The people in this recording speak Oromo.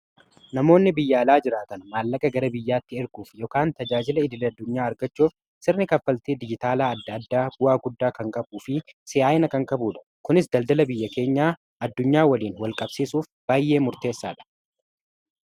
namoonni biyyaalaa jiraatan maallaqa gara biyyaatti erguuf ykn tajaajila idil-addunyaa argachuuf sirni kaffaltii dijitaalaa adda adda bu'aa guddaa kan qabuu fi si'aa'ina kan kabuudha kunis daldala biyya keenyaa addunyaa waliin wal-qabsiisuuf baay'ee murteessaa dha